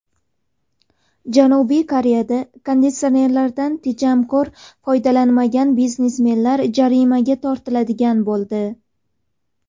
Janubiy Koreyada konditsionerlardan tejamkor foydalanmagan biznesmenlar jarimaga tortiladigan bo‘ldi.